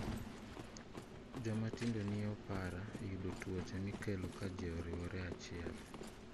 Jomatindo nie opara yudo tuoche mikelo ka ji oriwore achiel.